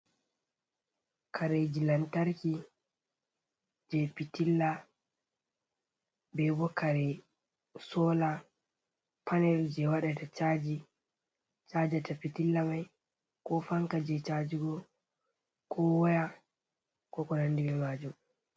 Kareeji lantarki jey pitilla ,be bo kare soola panel jey waɗata caji cajata pitilla may ko fanka jey cajigo ko waya, ko nanndi maajum.